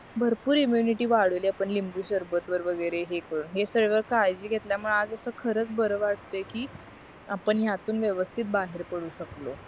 भरपूर इम्युनिटी वाढवली आपण लिंबू सरबत वगैरे हे करून हे सर्व काळजी घेतल्या मुळे आज अस खरंच बर वाटतंय कि आपण यातून यातून व्यवस्तीत बाहेर पडू शकलो